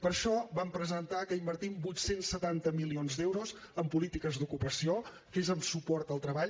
per això vam presentar que invertim vuit cents i setanta milions d’euros en polítiques d’ocupació que és en suport al treball